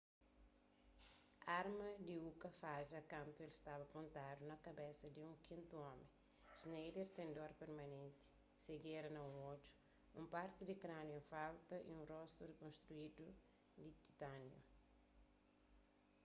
arma di uka fadja kantu el staba pontadu na kabesa di un kintu omi schneider ten dor permanenti sejera na un odju un parti di krâniu en falta y un rostu rekonstruídu di titániu